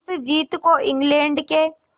इस जीत को इंग्लैंड के